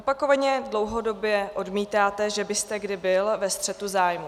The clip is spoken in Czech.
Opakovaně, dlouhodobě odmítáte, že byste kdy byl ve střetu zájmů.